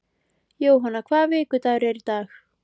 Jóanna, hvaða vikudagur er í dag?